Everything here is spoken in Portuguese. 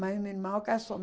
Mas meu irmão casou.